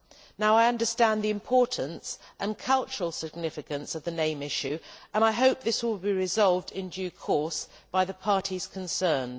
Now I understand the importance and cultural significance of the name issue and I hope that this will be resolved in due course by the parties concerned.